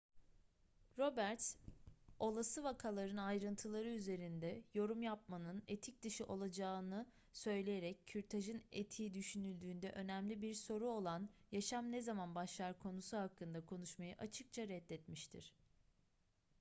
roberts olası vakaların ayrıntıları üzerinde yorum yapmanın etik dışı olacağını söyleyerek kürtajın etiği düşünüldüğünde önemli bir soru olan yaşam ne zaman başlar konusu hakkında konuşmayı açıkça reddetmiştir